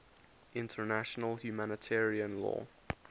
international humanitarian law